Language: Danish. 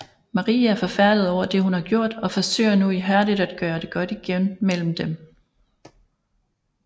Marie er forfærdet over det hun har gjort og forsøger nu ihærdigt at gøre det godt igen mellem dem